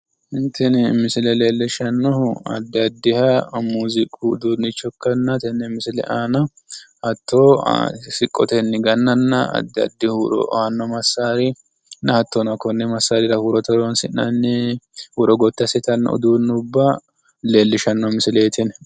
tini misile leellishshanohu addi addiha muziiqu uduunnicho ikkanna tenne misile aana siqqotenni gannanna addi addi huuro aanno massaari koni massaarira horonsi'neemmmo huuro gotti assitanno uduunnubba leellishshanno misileeti tini.